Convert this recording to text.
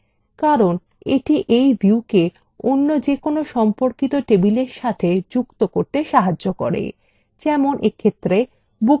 কারণ এটি এই viewকে any যেকোনো সম্পর্কিত table সাথে যুক্ত করতে সাহায্য করে যেমন এক্ষেত্রে booksissued table সাথে